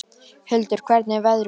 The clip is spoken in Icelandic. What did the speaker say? Huldar, hvernig er veðrið úti?